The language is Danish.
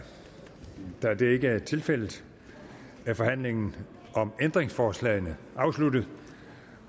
da det ikke er tilfældet er forhandlingen om ændringsforslagene afsluttet